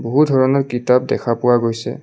বহু ধৰণৰ কিতাপ দেখা পোৱা গৈছে।